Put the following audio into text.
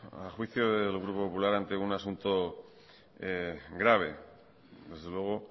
al juicio del grupo popular ante un asunto grave desde luego